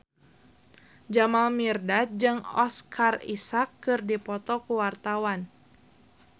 Jamal Mirdad jeung Oscar Isaac keur dipoto ku wartawan